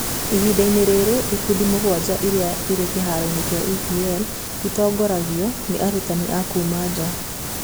Ihinda-inĩ rĩrĩ, ikundi mũgwanja iria irĩ kĩharo-inĩ kĩa EPL itongoragio nĩ arutani a kuuma nja.